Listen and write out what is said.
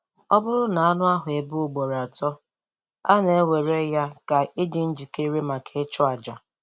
Ọ bụrụ na anụ ahụ ebe ugboro atọ, a na-ewere ya ka ịdị njikere maka ịchụ àjà.